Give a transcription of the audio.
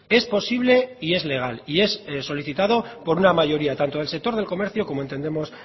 es posible y es legal y es solicitado por una mayoría tanto del sector del comercio como entendemos